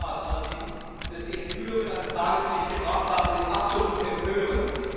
Das Ausmaß allerdings, das die Enthüllungen ans Tageslicht gebracht haben, ist absolut empörend.